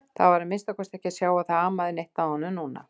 Það var að minnsta kosti ekki að sjá að það amaði neitt að honum núna.